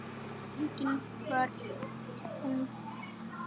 Engin vörn finnst.